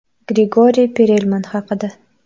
Grigoriy Perelman haqida.